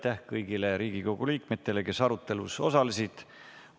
Aitäh kõigile Riigikogu liikmetele, kes arutelus osalesid!